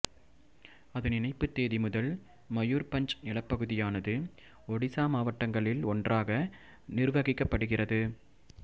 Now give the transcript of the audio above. அதன் இணைப்பு தேதி முதல் மயூர்பஞ்ச் நிலப்பகுதியானது ஒடிசா மாவட்டங்களில் ஒன்றாக நிர்வகிக்கப் படுகிறது